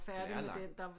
Den er lang